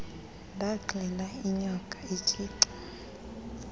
ndaxela inyoka etshica